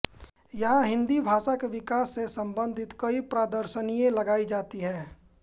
यहां हिन्दी भाषा के विकास से संबंधित कई प्रदर्शनियां लगाई जाएंगी